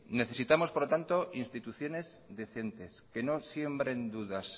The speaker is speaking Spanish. necesitamos por tanto instituciones decentes que no siembren dudas